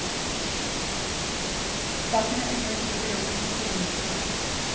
Saken er ikke ennå berammet i forliksrådet.